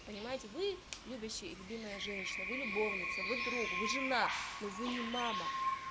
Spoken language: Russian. понимаете вы любящий любимая женщина вы любовница вы друг вы жена но вы не мама